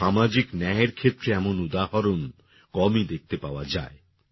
সামাজিক ন্যায়ের ক্ষেত্রে এমন উদাহরণ কমই দেখতে পাওয়া যায়